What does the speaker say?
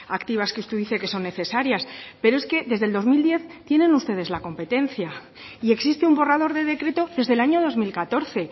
activas que usted dice que son necesarias pero es que desde el dos mil diez tienen ustedes la competencia y existe un borrador de decreto desde el año dos mil catorce